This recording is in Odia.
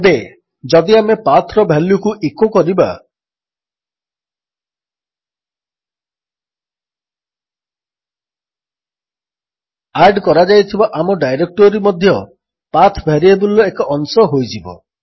ଏବେ ଯଦି ଆମେ PATHର ଭାଲ୍ୟୁକୁ ଇକୋ କରିବା ଆଡ୍ କରାଯାଇଥିବା ଆମ ଡାଇରେକ୍ଟୋରୀ ମଧ୍ୟ ପାଠ ଭାରିଏବଲ୍ର ଏକ ଅଂଶ ହୋଇଯିବ